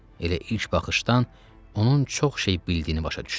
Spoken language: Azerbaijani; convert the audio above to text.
Elə ilk baxışdan onun çox şey bildiyini başa düşdüm.